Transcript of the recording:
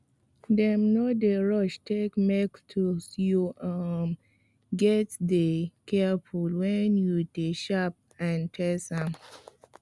dem no d rush take make tools you um gatz dey careful wen you de shape and test am